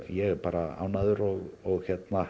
ég er bara ánægður og